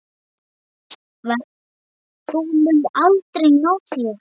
Þú munt aldrei ná þér.